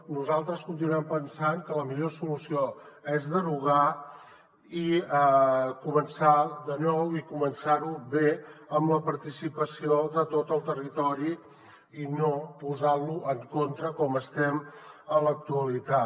nosaltres continuem pensant que la millor solució és derogar i començar de nou i començar ho bé amb la participació de tot el territori i no posant lo en contra com estem a l’actualitat